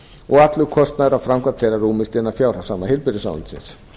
og allur kostnaður af framkvæmd þeirra rúmist innan fjárhagsramma heilbrigðisráðuneytisins